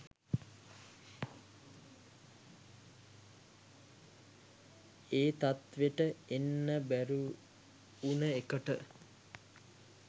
ඒ තත්ත්වෙට එන්න බැරි උන එකට